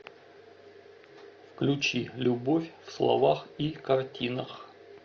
включи любовь в словах и картинах